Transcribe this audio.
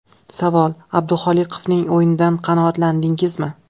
Savol: Abduholiqovning o‘yinidan qanoatlandingizmi?